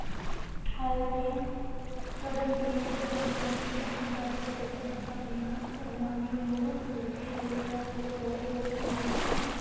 ਹੋਇਆ ਤੇ ਕਰਨ ਨੇੜੇ ਪੂਜ ਗਿਆ ਸੀ ਤਾਂ ਪੰਜਾਬੀ ਸਾਹਿਤ ਸਭਾ ਦੀਆ ਸਗ੍ਰਾਮੀਆ ਮੁੜ ਸੁਰਜੀਤ ਹੋਇਆ ਅਤੇ ਥੋੜੇ ਬਹੁਤ ਮਾਈਕ